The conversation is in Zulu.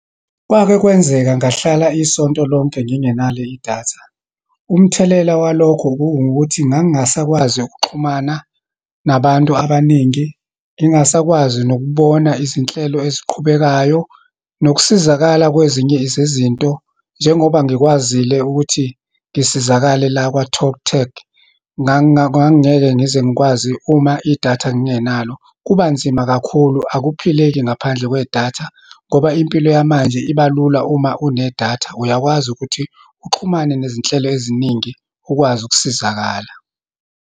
Kwake kwenzeka ngahlala isonto lonke ngingenalo idatha. Umthelela walokho kuwukuthi ngangingasakwazi ukuxhumana nabantu abaningi, ngingasakwazi nokubona izinhlelo eziqhubekayo, nokusizakala kwezinye zezinto, njengoba ngikwazile ukuthi ngisizakale la kwa-TalkTag. Ngangingeke ngize ngikwazi uma idatha ngingenalo. Kuba kanzima kakhulu, akuphileke ngaphandle kwedatha, ngoba impilo yamanje iba lula. uma unedatha, uyakwazi ukuthi uxhumane nezinhlelo eziningi, ukwazi ukusizakala.